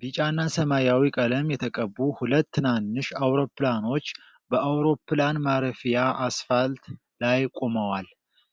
ቢጫና ሰማያዊ ቀለም የተቀቡ ሁለት ትናንሽ አውሮፕላኖች በአውሮፕላን ማረፊያ አስፋልት ላይ ቆመዋል።